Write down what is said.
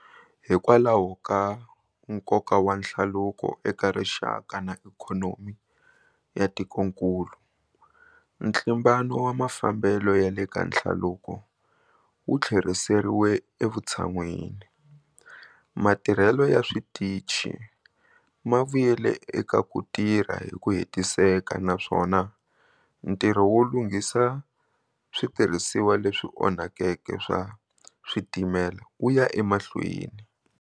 Hikwalahoka nkoka wa nhlaluko eka rixaka na ikhonomi ya tikonkulu, ntlimbano wa mafambelo ya le ka nhlaluko wu tlheriseriwe evutshan'wini, matirhelo ya switici ma vuyele eka ku tirha hi ku hetiseka naswona ntirho wo lunghisa switirhisiwa leswi onhakeke swa switimela wu ya emahlweni.